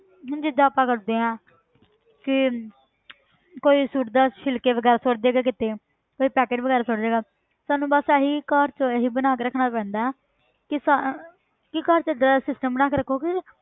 ਹੁਣ ਜਿੱਦਾਂ ਆਪਾਂ ਕਰਦੇ ਹਾਂ ਕਿ ਕੋਈ ਸੁੱਟਦਾ ਛਿਲਕੇ ਵਗ਼ੈਰਾ ਸੁੱਟ ਜਾਏਗਾ ਕਿਤੇ ਫਿਰ ਪੈਕਟ ਵਗ਼ੈਰਾ ਸੁੱਟ ਜਾਏਗਾ ਸਾਨੂੰ ਬਸ ਇਹੀ ਘਰ 'ਚ ਇਹੀ ਬਣਾ ਕੇ ਰੱਖਣਾ ਪੈਂਦਾ ਹੈ ਕਿ ਸਾ~ ਕਿ ਘਰ 'ਚ ਏਦਾਂ ਦਾ system ਬਣਾ ਕੇ ਰੱਖੋ ਕਿ